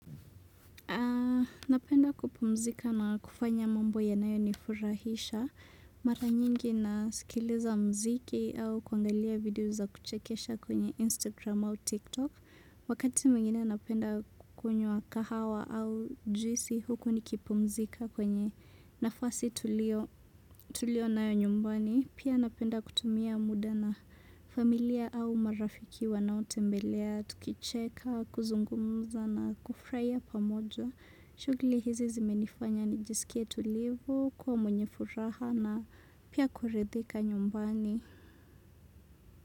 Napenda kupumzika na kufanya mambo ya nayo nifurahisha. Mara nyingi na sikiliza mziki au kwangalia video za kuchekesha kwenye Instagram au TikTok. Wakati mingine napenda kukunywa kahawa au juisi huku nikipumzika kwenye nafasi tulio nayo nyumbani. Pia napenda kutumia muda na familia au marafikiwa na tembelea, tukicheka, kuzungumza na kufraya pamojo. Shugli hizi zimenifanya nijisikie tulivo, kuwa mwenye furaha na pia kuridhika nyumbani.